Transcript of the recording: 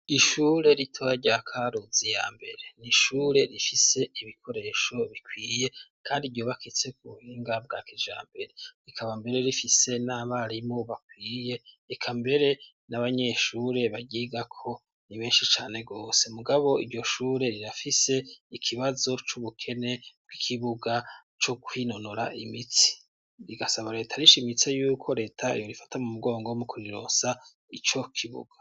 Ishure ritoya rya Karuzi ya mbere ni ishure rifise ibikoresho bikwiye kandi ryubakitse ku buhinga bwa kijambere rikaba mbere rifise n'abarimu bakwiye eka mbere n'abanyeshure baryigako ni benshi cane gose mugabo iryo shure rirafise ikibazo c'ubukene bw'ikibuga co kwinonora imitsi, rigasaba leta rishimitse yuko leta yoyifata mu mugongo mu kurirosa ico kibuga.